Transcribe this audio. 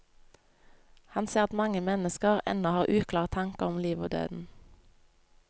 Han ser at mange mennesker ennå har uklare tanker om livet og døden.